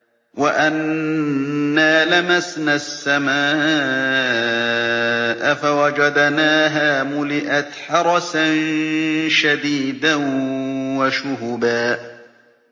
وَأَنَّا لَمَسْنَا السَّمَاءَ فَوَجَدْنَاهَا مُلِئَتْ حَرَسًا شَدِيدًا وَشُهُبًا